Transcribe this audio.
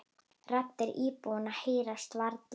Raddir íbúanna heyrast varla.